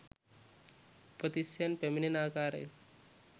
උපතිස්සයන් පැමිණෙන ආකාරය